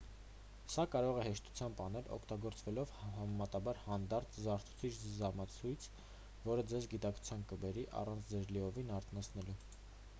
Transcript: սա կարող է հեշտությամբ անել օգտագործելով համեմատաբար հանդարտ զարթուցիչ-ժամացույց որը ձեզ գիտակցության կբերի առանց ձեզ լիովին արթնացնելու